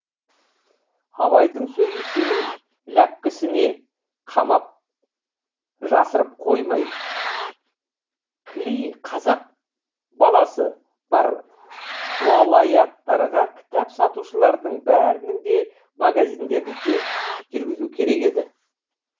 абайдың сөзін семей ләпкесіне қамап жасырып қоймай кіли қазақ бал асы бар уалаяттардағы кітап сатушылардың бәрінің де магазиндерінде жүргізу керек еді